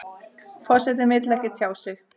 Forsetinn vill ekki tjá sig